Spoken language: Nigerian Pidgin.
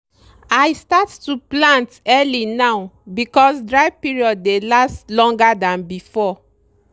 i start to plant early now because dry period dey last longer than before.